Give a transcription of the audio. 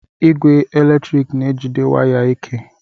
Ogwe eletrik na-ejide waya ike